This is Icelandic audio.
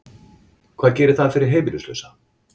Hvað gerir það fyrir heimilislausa?